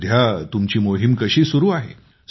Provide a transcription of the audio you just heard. सध्या तुमची मोहीम कशी सुरु आहे